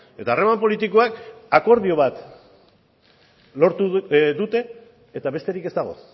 eta harreman politikoak akordio bat lortu dute eta besterik ez dago